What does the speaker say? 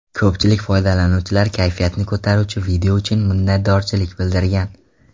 Ko‘pchilik foydalanuvchilar kayfiyatni ko‘taruvchi video uchun minnatdorchilik bildirgan.